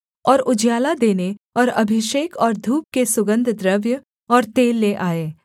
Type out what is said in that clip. और उजियाला देने और अभिषेक और धूप के सुगन्धद्रव्य और तेल ले आए